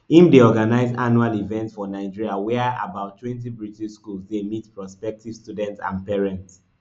im dey organise annual events for nigeria wia about twenty british schools dey meet prospective students and parents